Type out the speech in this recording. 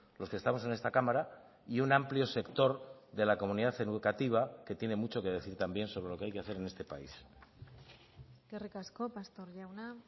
los que estamos en esta cámara y un amplio sector de la comunidad educativa que tiene mucho que decir también sobre lo que hay que hacer en este país eskerrik asko pastor jauna